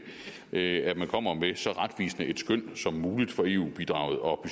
at en at man kommer med så retvisende et skøn som muligt for eu bidraget og